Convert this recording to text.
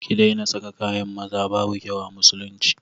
Ki daina saka kayan maza, babu kyau a musulunci